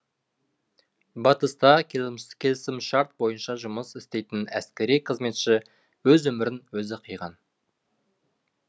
батыста келісімшарт бойынша жұмыс істейтін әскери қызметші өз өмірін өзі қиған